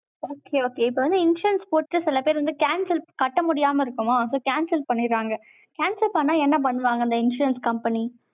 Okay, okay இப்ப வந்து, insurance போட்டுட்டு, சில பேர் வந்து, cancel கட்ட முடியாம இருக்குமா? so, cancel பண்ணிடறாங்க. cancel பண்ணா, என்ன பண்ணுவாங்க, அந்த insurance company